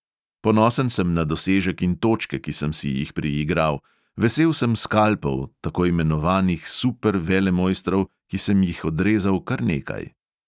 Ponosen sem na dosežek in točke, ki sem si jih priigral, vesel sem skalpov tako imenovanih super velemojstrov, ki sem jih odrezal kar nekaj.